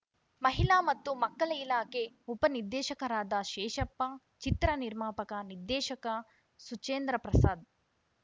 ಮಹಿಳಾ ಮತ್ತು ಮಕ್ಕಳ ಇಲಾಖೆ ಉಪನಿರ್ದೇಶಕರಾದ ಶೇಷಪ್ಪ ಚಿತ್ರ ನಿರ್ಮಾಪಕನಿರ್ದೇಶಕ ಸುಚೇಂದ್ರಪ್ರಸಾದ್‌